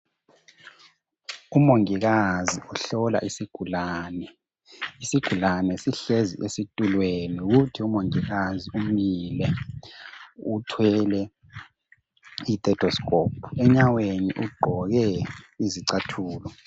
Umongikazi uhlola isigulane. Isigulane sihlezi esitulweni, kuthi umongikazi umile uthwele ithetoskhophu. Enyaweni ugqoke izicathulo.